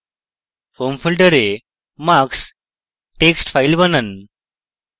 home folder marks text file বানান